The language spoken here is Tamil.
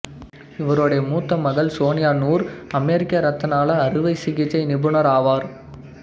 இவருடைய மூத்த மகள் சோனியா நூர் அமெரிக்க இரத்தநாள அறுவை சிகிச்சை நிபுணர் ஆவார்